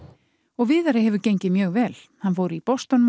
og Viðari hefur gengið mjög vel hann fór í Boston